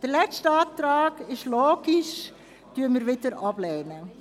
Den letzten Antrag – das ist ja logisch – lehnen wir wieder ab.